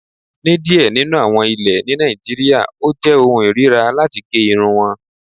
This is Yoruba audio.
Ní díẹ̀ nínú àwọn ilẹ̀ ni Nàìjíríà, ó jẹ́ ọ̀hùn irira latí gé irùn wọn.